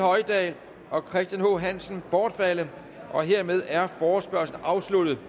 hoydal og christian h hansen bortfaldet hermed er forespørgslen afsluttet